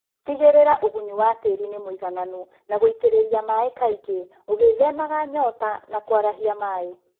Tigĩrĩra ũgunyu wa tĩri ni mũigananu na gũitĩrĩria maĩĩ kaingĩ ũgĩthemaga nyota na kũarahia maĩĩ